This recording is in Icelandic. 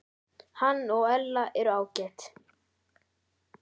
Hann og Ella eru ágæt.